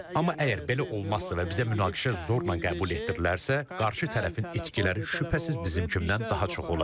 Amma əgər belə olmazsa və bizə münaqişə zorla qəbul etdirilərsə, qarşı tərəfin itkiləri şübhəsiz bizimkindən daha çox olacaq.